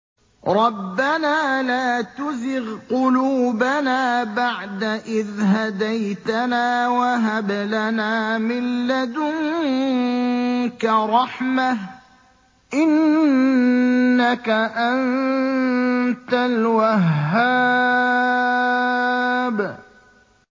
رَبَّنَا لَا تُزِغْ قُلُوبَنَا بَعْدَ إِذْ هَدَيْتَنَا وَهَبْ لَنَا مِن لَّدُنكَ رَحْمَةً ۚ إِنَّكَ أَنتَ الْوَهَّابُ